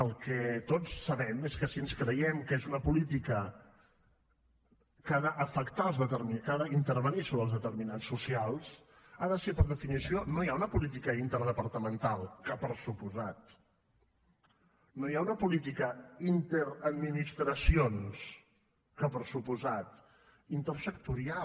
el que tots sabem és que si ens creiem que és una política que ha d’intervenir sobre els determinants socials ha de ser per definició no ja una política inter departamental que per descomptat no ja una política interadministracions que per descomptat intersectorial